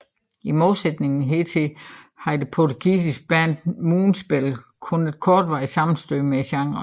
I modsætning hertil havde det portugisiske band Moonspell kun et kortvarigt sammenstød med genren